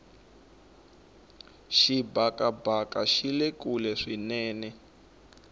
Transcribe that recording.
xibakabaka xile kule swinene